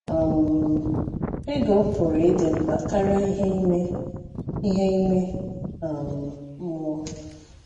um Ego pụrụ ịdị mkpa karịa ihe ime ihe ime um mmụọ.